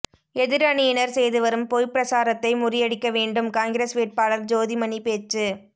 எதிர் அணியினர் செய்து வரும் பொய் பிரசாரத்தை முறியடிக்க வேண்டும் காங்கிரஸ் வேட்பாளர் ஜோதி மணி பேச்சு